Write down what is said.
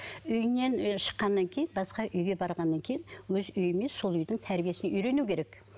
үйінен ы шыққаннан кейін басқа үйге барғаннан кейін өз үйімен сол үйдің тәрбиесіне үйрену керек